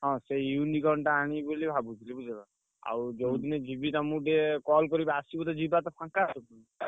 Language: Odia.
ହଁ ସେଇ ଟା ଆଣିବି ବୋଲି ଭାବୁଛି ବୁଝିଲ? ଆଉ ଯୋଉ ଯିବି ତମୁକୁ ଟିକେ call କରିବି ଆସିବ ତ ଯିବା ତ ଫାଙ୍କା ଅଛ କି?